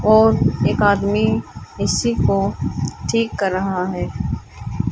और एक आदमी ए_सी को ठीक कर रहा है।